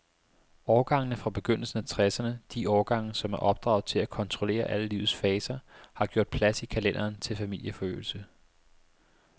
Årgangene fra begyndelsen af tresserne, de årgange, som er opdraget til at kontrollere alle livets faser, har gjort plads i kalenderen til familieforøgelse.